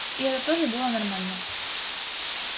и это тоже было нормально